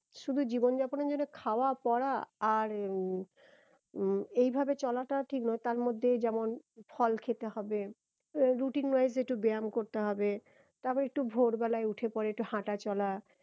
শুধু জীবন যাপনের জন্য খাওয়া পড়া আর উম এই ভাবে চলাটা ঠিক নয় তার মধ্যে যেমন ফল খেতে হবে routine wise একটু ব্যাম করতে হবে তারপরে একটু ভোর বেলায় উঠে পরে একটু হাঁটা চলা